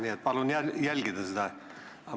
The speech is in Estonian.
Nii et palun seda jälgida!